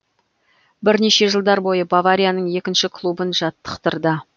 бірнеше жылдар бойы баварияның екінші клубын жаттықтырды